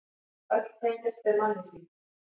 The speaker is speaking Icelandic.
Öll tengjast þau mannlýsingum.